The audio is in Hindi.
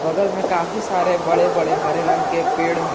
बगल में काफी सारे बड़े बड़े हरे रंग के पेड़ है।